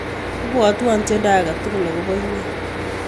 Ibwotwon tyendo ake tukul akopo inye.